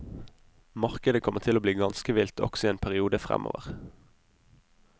Markedet kommer til å bli ganske vilt også i en periode fremover.